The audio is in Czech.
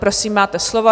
Prosím, máte slovo.